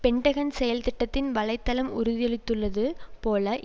Pentagon செயல்திட்டத்தின் வலை தளம் உறுதியளித்துள்ளது போல